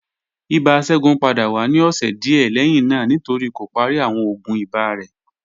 Ibà Segun pada wa ni ọsẹ diẹ lẹhinna nitori ko pari awọn oògùn iba rẹ